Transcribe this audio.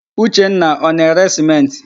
Uchenna ọ na-ere sịmentị?